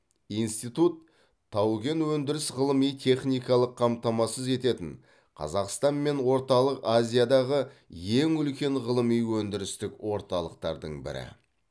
институт тау кен өндіріс ғылыми техникалық қамтамасыз ететін қазақстан мен орталық азиядағы ең үлкен ғылыми өндірістік орталықтардың бірі